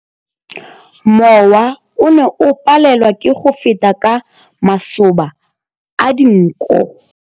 Mowa o ne o palelwa ke go feta ka masoba a dinko.